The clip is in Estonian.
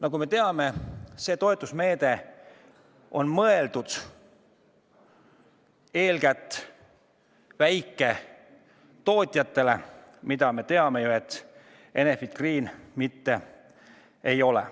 Nagu me teame, see toetusmeede on mõeldud eeskätt väiketootjatele, aga nagu me samuti teame, Enefit Green seda mitte ei ole.